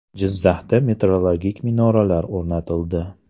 Jizzaxda metrologik minoralar o‘rnatildi .